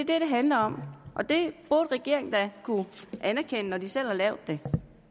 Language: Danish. det handler om og det burde regeringen da kunne anerkende når den selv har lavet det